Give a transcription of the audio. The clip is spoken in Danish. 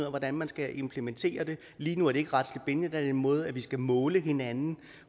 af hvordan man skal implementere det lige nu er det ikke retligt bindende der er det en måde vi skal måle hinanden